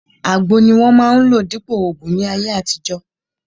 Àgbo ni wọ́n máa ń lò dípòo ògùn ní ayé àtijọ́